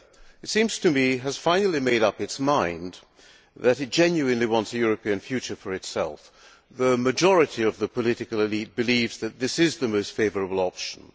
It seems to me that Serbia has finally made up its mind that it genuinely wants a European future for itself. The majority of the political elite believes that this is the most favourable option.